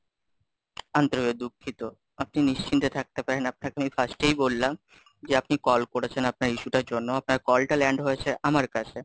আন্তরিক ভাবে দুঃখিত, আপনি নিশ্চিন্তে থাকতে পারেন, আপনাকে আমি First এই বললাম, যে আপনি কল করেছেন, আপনার issue টার জন্য, আপনার কলটা land হয়েছে আমার কাছে।